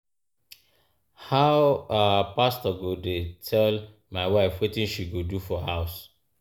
How um pastor go dey tell my wife wetin she go do for house? um